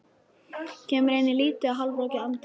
Kemur inn í lítið og hálfrokkið anddyrið.